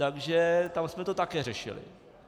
Takže tam jsme to také řešili.